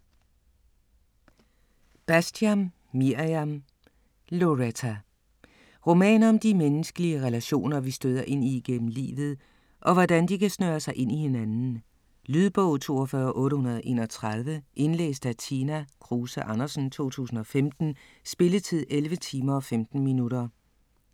Bastian, Mirjam: Loretta Roman om de menneskelige relationer vi støder ind i igennem livet og hvordan de kan snøre sig ind i hinanden. Lydbog 42831 Indlæst af Tina Kruse Andersen, 2015. Spilletid: 11 timer, 15 minutter.